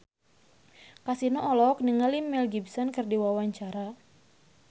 Kasino olohok ningali Mel Gibson keur diwawancara